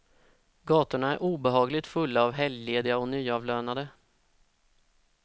Gatorna är obehagligt fulla av helglediga och nyavlönade.